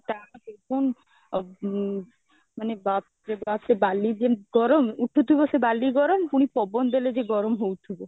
ତା ଆ ମାନେ ବାପରେ ବାପ୍ ସେ ବାଲି ଯେମିତି ଗରମ ଉଠୁଥିବ ସେ ବାଲି ଗରମ ପୁଣି ପବନ ଦେଲେ ବି ଗରମ ହଉଥିବ